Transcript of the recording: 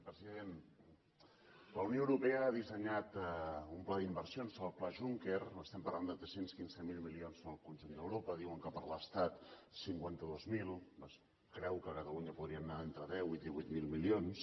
president la unió europea ha dissenyat un pla d’inversions el pla juncker estem parlant de tres cents i quinze mil milions en el conjunt d’europa diuen que per a l’estat cinquanta dos mil es creu que a catalunya n’hi podrien anar entre deu i divuit mil milions